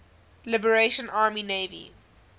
liberation army navy